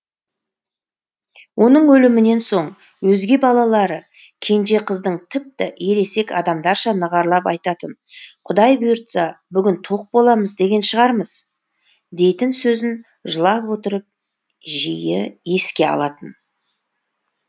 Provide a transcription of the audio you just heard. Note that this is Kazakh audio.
оның өлімінен соң өзге балалары кенже қыздың тіпті ересек адамдарша нығырлап айтатын құдай бұйыртса бүгін тоқ боламыз боламыз шығармыз дейтін сөзін жылап отырып жиі еске алатын